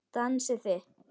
Dansið þið.